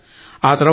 ఆతర్వాత